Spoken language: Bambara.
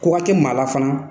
Kɔnkɔ tɛ maa la fana.